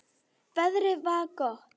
Veðrið var gott.